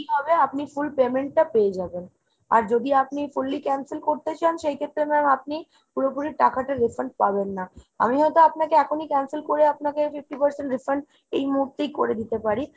কি হবে আপনি full payment টা পেয়ে যাবেন। আর যদি আপনি fully cancel করতে চান সেক্ষেত্রে ma'am আপনি পুরোপুরি টাকাটা refund পাবেন না। আমি হয়তো আপনাকে এখনই cancel করে আপনাকে fifty percent refund এই মুহূর্তেই করে দিতে পারি।